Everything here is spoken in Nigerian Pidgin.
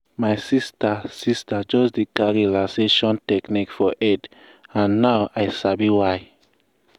my sister sister just dey carry relaxation technique for head and now i sabi why.